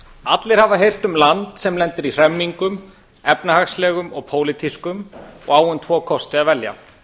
allir hafa heyrt um land sem lendir í hremmingum efnahagslegum og pólitískum og á um tvo kosti að velja